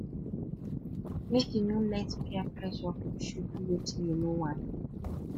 make you no let peer pressure push you do wetin you no want